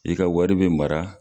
I ka wari be mara